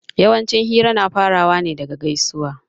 Yawanci hira na farawa ne daga gaisuwa